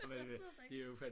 Der sidder den